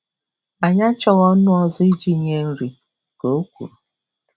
Anyị achọghị ọnụ ọzọ iji nye nri, ka o kwuru.